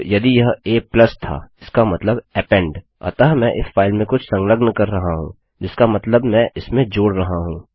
अब यदि यह a था इसका मतलब अपेंड अतः मैं इस फाइल में कुछ संलग्न कर रहा हूँजिसका मतलब मैं इसमें जोड़ रहा हूँ